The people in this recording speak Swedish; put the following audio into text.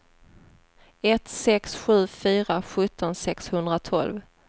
ett sex sju fyra sjutton sexhundratolv